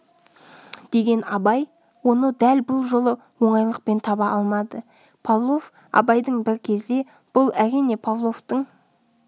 деген абай оны дәл бұл жолы оңайлықпен таба алмады павлов абайдың бір кезде бұл әрине павловтың